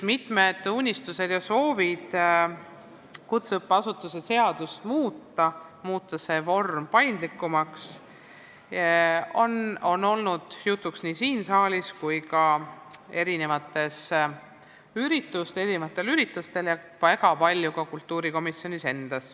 Mitmed unistused ja soovid kutseõppeasutuse seadust muuta, muuta see õppevorm paindlikumaks, on olnud jutuks nii siin saalis kui ka mitmetel üritustel ja väga palju ka kultuurikomisjonis.